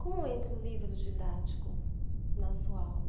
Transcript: Como entra o livro didático na sua aula?